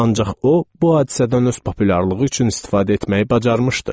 Ancaq o bu hadisədən öz populyarlığı üçün istifadə etməyi bacarmışdı.